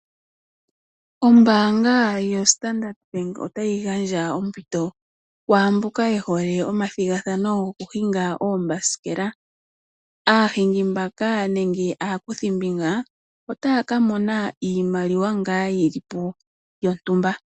Ombaanga yoStandard bank otayi gandja ompito kwaamboka yehole omathigathano gokuhinga oombasikela, aahingi mbaka nenge aakuthimbinga otaya ka mona ngaa iimaliwa ngaa yilipo yontumba.